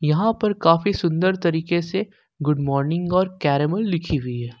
यहां पर काफी सुंदर तरीके से गुड मॉर्निंग़ और कैरेमल लिखी हुई है।